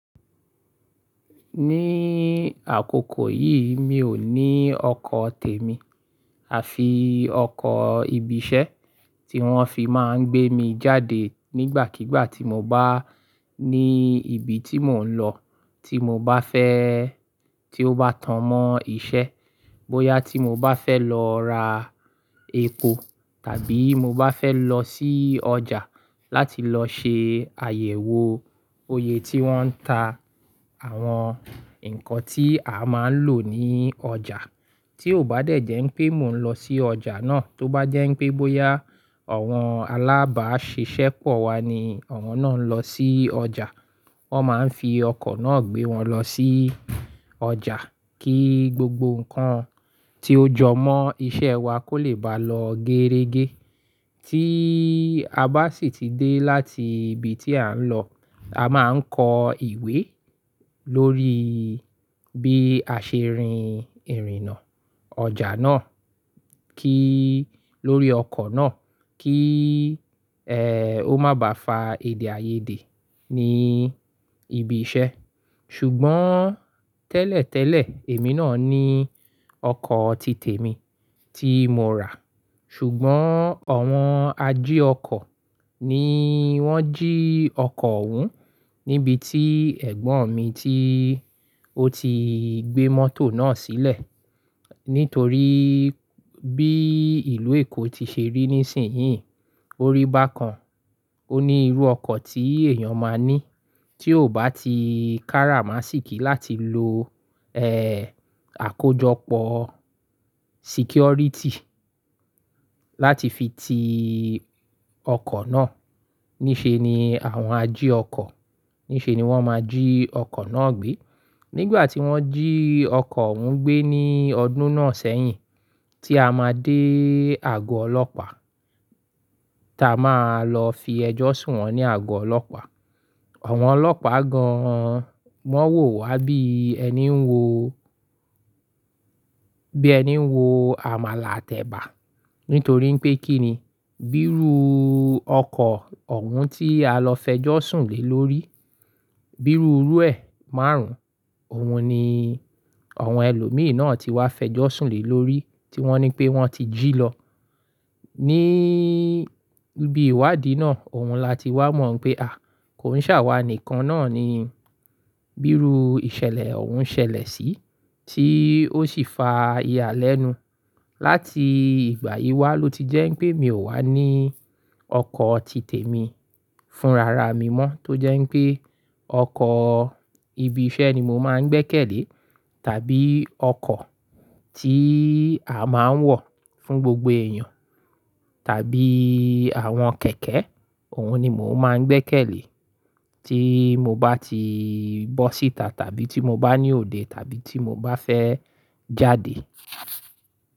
Ní àkókò yìí mi ò ní ọkọ̀ tèmi àfi ọkọ̀ ibi iṣẹ́ tí wọ́n fi máa ń gbé mi jáde nígbàkígbà tí mo bá ní ibi tí mò ń lọ, tí mo bá fẹ́ tí ó bá tán mọ́ iṣẹ́, bóyá tí mo bá fẹ́ lọ ra epo tàbí mo bá fẹ́ lọ sí ọjà láti lọ ṣe àyẹ̀wò oyè tí wọ́n ń ta àwọn nǹkan tí a máa ń lò ní ọjà. Tí ò bá dẹ̀ jẹ́ ń pé mò ń lọ sí ọjà náà, tó bá jẹ́ pé bóyá àwọn alábàáṣiṣẹ́ pọ̀ wá ni àwọn náà ń lọ sí ọjà, wọ́n máa ń fi ọkọ̀ náà gbé wọn lọ sí ọjà kí gbogbo nǹkan tí ó jọ mọ́ iṣẹ́ wa kó lè bá lọ géérégé. Tí a bá sì ti dé láti ibi tí à ń lọ, a máa ń kọ ìwé lórí bí a ṣe rìn ìrìnà ọjà náà kí lórí ọkọ̀ náà kí, ẹ́, ó má bá fa èdè àìyedè ní ibi iṣẹ́. Ṣùgbọ́n tẹ́lẹ̀tẹ́lẹ̀ èmi náà ní ọkọ̀ ti tèmi tí mo rà, ṣùgbọ́n àwọn ají ọkọ̀ ni wọ́n jí ọkọ̀ òhun níbi tí ẹ̀gbọ́n mi tí ó ti gbé mọ́tò náà sílẹ̀. Nítorí bí ìlú Èkó ti ṣe rí ní sìnyí, orí bàkan, ó ní irú ọkọ̀ tí èèyàn máa ní tí ò bá ti kára má sì kí láti lo, ẹ́, àkójọpọ̀ security láti fi ti ọkọ̀ náà. Níṣe ni àwọn ají ọkọ̀, níṣe ni wọ́n máa jí ọkọ̀ náà gbé. Nígbà tí wọ́n jí ọkọ̀ òhun gbé ní ọdún náà sẹ́yìn tí a máa dé àgọ́ Ọlọ́pàá, táa máa lọ fi ẹjọ́ sùn wọ́n ní àgọ́ Ọlọ́pàá, àwọn ọlọ́pàá gan-an wọ́n wò wá bí ẹni ń wo, bí ẹni ń wo àmàlà àt’ẹ̀bà. Nítorí pé kí ni, bírú ọkọ̀ òhun tí a lọ fẹjọ́ sùn lé lórí, bírú irú ẹ̀ márùn-ún, òun ni àwọn ẹlòmíràn náà ti wá fẹjọ́ sùn lé lórí tí wọ́n ní pé wọ́n ti jí lọ. Ní ibí ìwádìí náà, òun la ti wá mọ̀ pé à, kò ń ṣàwà nìkan náà ni bírú ìṣẹ̀lẹ̀ òun ń ṣẹlẹ̀ sí tí ó sì fa ìyàlẹ́nu. Láti ìgbà yìí wá ló ti jẹ́ pé mi ò wá ní ọkọ̀ ti tèmi fún rara mi mọ́ tó jẹ́ pé ọkọ̀ ibi iṣẹ́ ni mo máa ń gbẹ́kẹ̀lé tàbí ọkọ̀ tí a máa ń wọ̀ fún gbogbo èèyàn tàbí àwọn kẹ̀kẹ́ òun ni mò máa ń gbé kẹ́lẹ̀ tí mo bá ti bọ́ síta tàbí tí mo bá ní òde tàbí tí mo bá fẹ́ jáde.